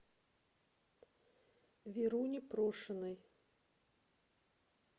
веруне прошиной